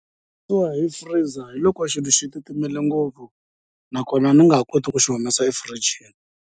hi freezer hi loko xilo xi titimela ngopfu nakona ni nga ha koti ku xi humesa efirijini.